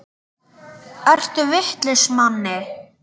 Ertu vitlaus Manni!